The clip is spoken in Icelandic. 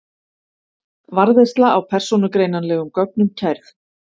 Varðveisla á persónugreinanlegum gögnum kærð